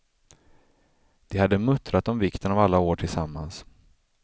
De hade muttrat om vikten av alla år tillsammans.